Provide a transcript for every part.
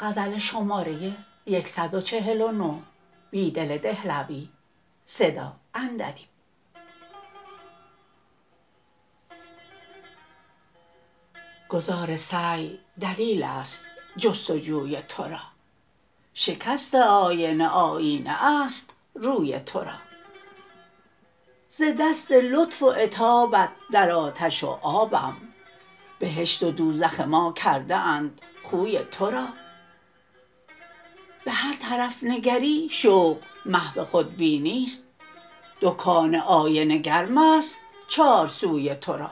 گداز سعی دلیل است جستجوی تو را شکست آینه آیینه است روی تو را ز دست لطف و عتابت در آتش و آبم بهشت و دوزخ ماکرده اند خوی تو را به هرطرف نگری شوق محو خودبینی ست دکان آینه گرم است چارسوی تو را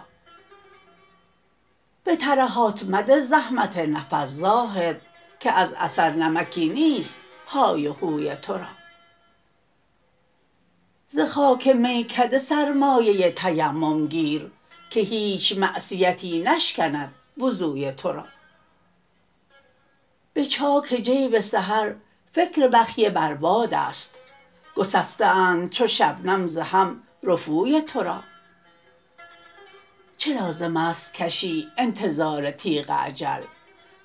به ترهات مده زحمت نفس زاهد که ازاثر نمکی نیست های وهوی تورا ز خاک میکده سرمایه تیمم گیر که هیچ معصیتی نشکندوضوی تورا به چاک جیب سحر فکربخیه برباد است گسسته اند چو شبنم ز هم رفوی تو را چه لازم است کشی انتظار تیغ اجل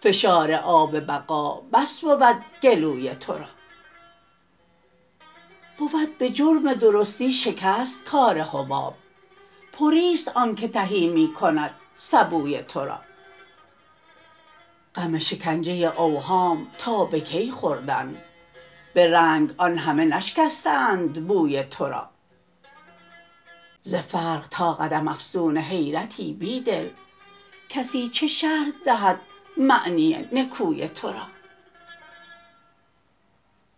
فشارآب بقا بس بودگلوی تو را بود به جرم درستی شکست کار حباب پری ست آنکه تهی می کند سبوی تورا غم شکنجه اوهام تا به کی خوردن به رنگ آن همه نشکسته اند بوی تورا زفرق تا قدم افسون حیرتی بیدل کسی چه شرح دهد معنی نکوی تورا